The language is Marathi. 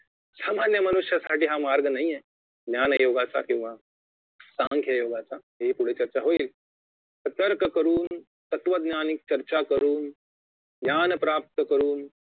सामान्यमनुष्यासाठी हा मार्ग नाहीये ज्ञान योगाचा किंवा सांख्ययोगाचा ही पुढे चर्चा होईल तर्क करुन तत्वज्ञानी चर्चा करुन ज्ञान प्राप्त करुन